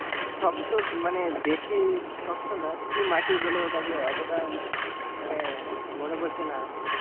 শক্ত মানে বেশি শক্ত না কি মাটি বলে ওতটা মানে মনে পরছে না।